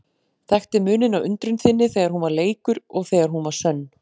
Þekkti muninn á undrun þinni þegar hún var leikur og þegar hún var sönn.